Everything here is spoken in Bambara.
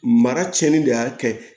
Mara tiɲɛni de y'a kɛ